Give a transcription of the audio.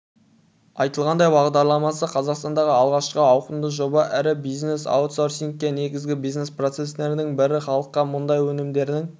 айтылғандай бағдарламасы қазақстандағы алғашқы ауқымды жоба ірі бизнес аутсорсингке негізгі бизнес-процестердің бірін халыққа мұнай өнімдерін